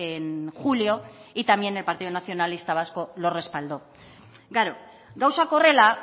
en julio y también el partido nacionalista vasco lo respaldó gauzak horrela